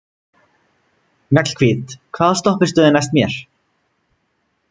Mjallhvít, hvaða stoppistöð er næst mér?